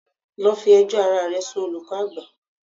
Go and report yourself to the head master.